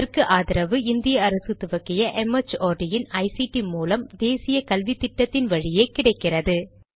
இதற்கு ஆதரவு இந்திய அரசு துவக்கிய ஐசிடி மூலம் தேசிய கல்வித்திட்டத்தின் வழியே கிடைக்கிறது